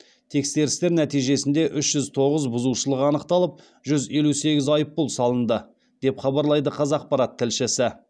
тексерістер нәтижесінде үш жүз тоғыз бұзушылық анықталып жүз елу сегіз айыппұл салынды деп хабарлайды қазақпарат тілшісі